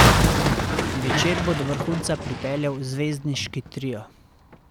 Večer bo do vrhunca pripeljal zvezdniški trio.